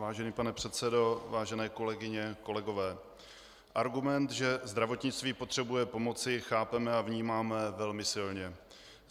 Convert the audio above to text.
Vážený pane předsedo, vážené kolegyně, kolegové, argument, že zdravotnictví potřebuje pomoci, chápeme a vnímáme velmi silně.